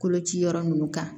Koloci yɔrɔ ninnu kan